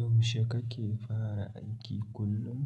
Yaushe kake fara aiki kullum?